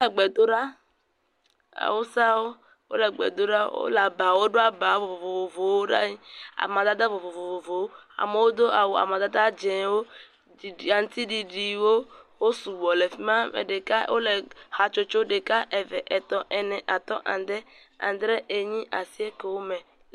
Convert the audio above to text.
Wole gbe ɖa. Awusawo, wole gbe ɖo ɖa. Wole aba, woɖo aba vovovowo ɖa yi, amadede vovovowo. Amewo do awu amadada dzẽwo, ɖiɖi, aŋutiɖiɖiwo. Wo sugbɔ le fi ma. Ame ɖeka wole hatsotso ɖeka, eve, etɔ̃, ene, atɔ̃, ade, adre, enyi, asiekewo me.